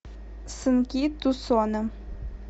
сынки тусона